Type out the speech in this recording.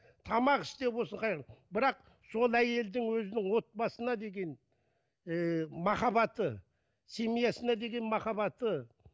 тамақ істеу болсын бірақ сол әйелдің өзінің отбасына деген ііі махаббаты семьясына деген махаббаты